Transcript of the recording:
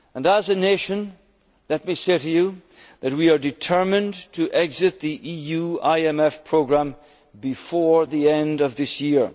to return. As a nation, let me say to you, that we are determined to exit the EU IMF programme before the end of